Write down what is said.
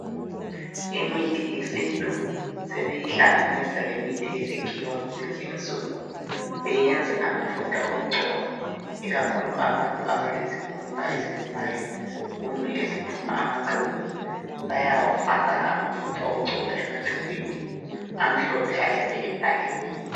Imithi yesintu sebeyihlanganisa lemithi yesikhiwa kulezinsuku beyenze amafutha okugcoba, ikakhulu abantu abalezikhumba ezilumayo kumbe eziphuma amaqubu. Bayawafaka amafutha okugcoba ematshubhini amhlophe ayabe ebhaliwe.